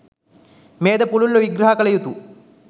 මෙයද පුළුල්ව විග්‍රහ කළ යුතු